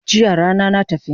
Jiya rana na tafi